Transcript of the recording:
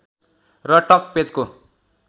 र टक पेजको